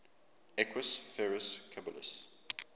equus ferus caballus